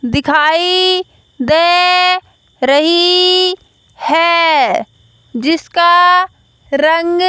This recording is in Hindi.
दिखाई दे रही है जिसका रंग--